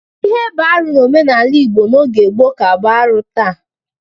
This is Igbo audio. Ihe bụ arụ n'omenala Igbo n'oge gboo ka bụ arụ taa.